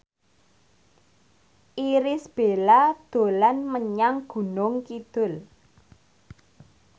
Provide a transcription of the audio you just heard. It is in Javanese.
Irish Bella dolan menyang Gunung Kidul